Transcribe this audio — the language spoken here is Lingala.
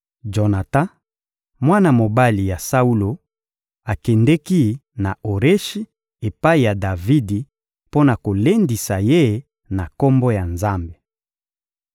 Jonatan, mwana mobali ya Saulo, akendeki na Oreshi epai ya Davidi mpo na kolendisa ye na Kombo ya Nzambe.